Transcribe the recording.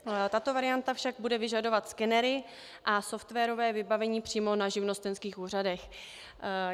Tato varianta však bude vyžadovat skenery a softwarové vybavení přímo na živnostenských úřadech.